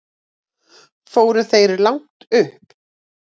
Fóruð þér langt upp?